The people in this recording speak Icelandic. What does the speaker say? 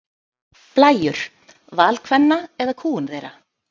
Blæjur: Val kvenna eða kúgun þeirra?